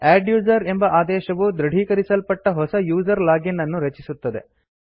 adduser ಎಂಬ ಆದೇಶವು ದೃಢೀಕರಿಸಲ್ಪಟ್ಟ ಹೊಸ ಯೂಸರ್ ಲಾಗಿನ್ ಅನ್ನು ರಚಿಸುತ್ತದೆ